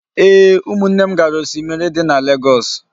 Ee, umunne m gara osimiri di na legoosu